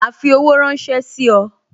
Ma fi owó ránsẹ́ sí ọ